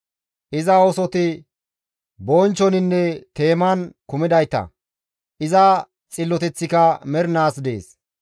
Iza oosoti bonchchoninne teeman kumidayta; iza xilloteththika mernaas dees.